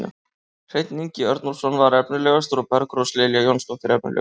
Hreinn Ingi Örnólfsson var efnilegastur og Bergrós Lilja Jónsdóttir efnilegust.